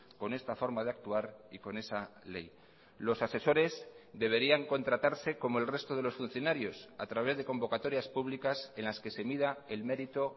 con esta forma de actuar y con esa ley los asesores deberían contratarse como el resto de los funcionarios a través de convocatorias públicas en las que se mida el mérito